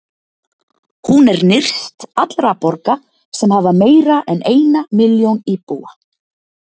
Hún er nyrst allra borga sem hafa meira en eina milljón íbúa.